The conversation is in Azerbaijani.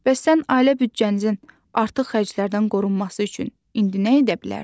Bəs sən ailə büdcənizin artıq xərclərdən qorunması üçün indi nə edə bilərsən?